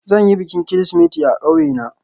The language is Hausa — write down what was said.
Zan yi bikin Kirsimeti a ƙauye na